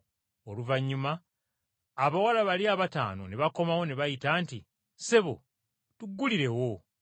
Oluvannyuma abawala bali abataano ne bakomawo ne bayita nti, ‘Ssebo, tuggulirewo!’